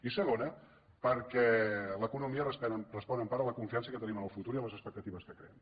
i segona perquè l’economia respon en part a la confiança que tenim en el futur i a les expectatives que creem